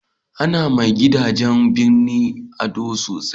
a na ma gidajen birni ado sosai